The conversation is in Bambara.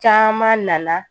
Caman nana